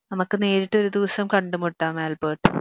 നമുക്ക് നേരിട്ട് ഒരു ദിവസ്സം കണ്ടുമുട്ടാം ആൽബർട്ട്